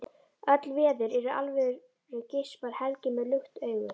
Öll veður eru alvöru, geispar Helgi með lukt augu.